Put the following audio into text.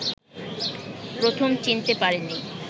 প্রথম চিনতে পারিনি